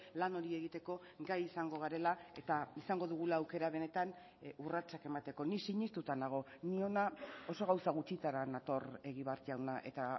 lan hori egiteko gai izango garela eta izango dugula aukera benetan urratsak emateko ni sinestuta nago ni hona oso gauza gutxitara nator egibar jauna eta